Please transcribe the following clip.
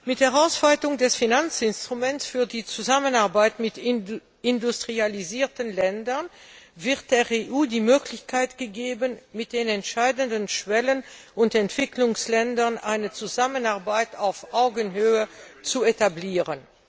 Mit der Ausweitung des Finanzinstruments für die Zusammenarbeit mit industrialisierten Ländern wird der EU die Möglichkeit gegeben, mit den entscheidenden Schwellen und Entwicklungsländern eine Zusammenarbeit auf Augenhöhe zu etablieren.